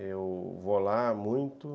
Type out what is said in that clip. Eu vou lá muito.